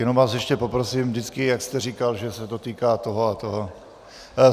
Jenom vás ještě poprosím, vždycky jak jste říkal, že se to týká toho a toho.